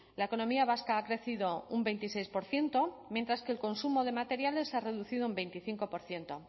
la economía vasca ha crecido un veintiséis por ciento mientras que el consumo de materiales se ha reducido un veinticinco por ciento